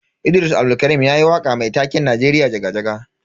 Idris Abdulkarim yayi waka mai taken Najeriya jaga-jaga.